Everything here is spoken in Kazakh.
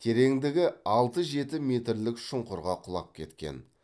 тереңдігі алты жеті метрлік шұңқырға құлап кеткен